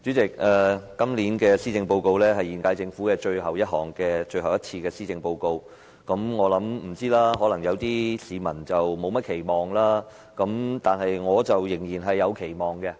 主席，今年的施政報告是現屆政府最後一份施政報告，我相信部分市民對此並沒甚麼期望，但我卻仍然是有期望的。